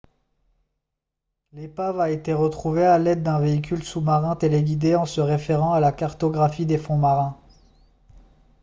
l'épave a été retrouvée à l'aide d'un véhicule sous-marin téléguidé en se référant à la cartographie des fonds marins